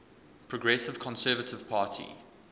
progressive conservative party